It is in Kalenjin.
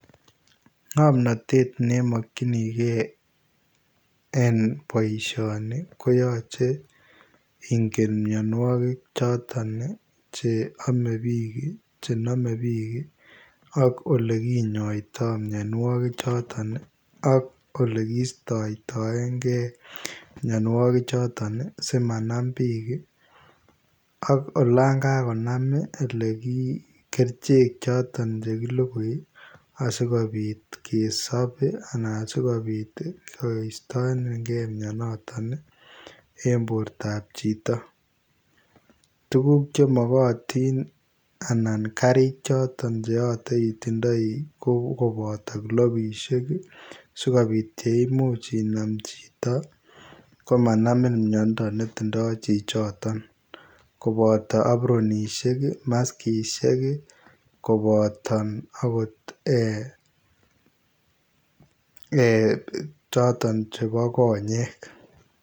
Ngamnatet ne makyinigei en baishonii ko yachei ingen mianwagik chotoon cheame biik chename biik ak ole kinyaitaa mianwagik chotoon ii ak olekistaen gei mianwagik chotoon simanaam biik ii ak olaan kanam ii kercheek chotoon chekilugui ii asikobiit kesaap ii anan asikobiit koistaningei mianotoon ii en borto ab chitoo tuguk chemagatiin ii anan gariik che yachei itinyei ko kobataa glofisiek sikobiit yeimuuch Inaam chitoo komanamiin miando ne tinyei chii chotoon kobataa abronisheek ii maskisiek kobataa akoot chebo konyeek.